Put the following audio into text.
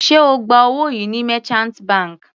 Sé ó gba owó yìí ní merchant bank?